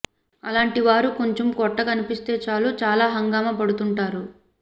అలాంటి వారు కొంచెం పొట్ట కనిపిస్తే చాలు చాలా హంగామా పడుతుంటారు